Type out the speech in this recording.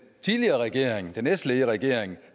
tidligere regering den s ledede regering